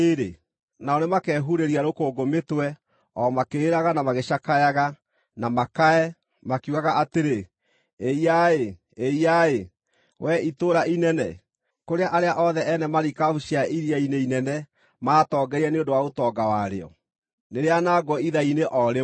Nao nĩmakehurĩria rũkũngũ mĩtwe o makĩrĩraga na magĩcakayaga, na makae, makiugaga atĩrĩ: “ ‘Ĩiya-ĩ! Ĩiya-ĩ, Wee itũũra inene, kũrĩa arĩa othe ene marikabu cia iria-inĩ inene maatongeire nĩ ũndũ wa ũtonga warĩo! Nĩrĩanangwo ithaa-inĩ o rĩmwe!